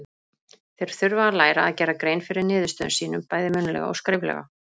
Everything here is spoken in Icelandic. Þeir þurfa að læra að gera grein fyrir niðurstöðum sínum, bæði munnlega og skriflega.